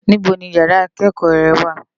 Nibó ni iyàrá ikëkò rè wá?